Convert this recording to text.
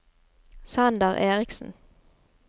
Sander Erichsen